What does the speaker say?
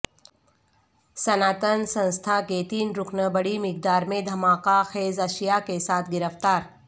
سناتن سنستھا کے تین رکن بڑی مقدارمیں دھماکہ خیزاشیا کے ساتھ گرفتار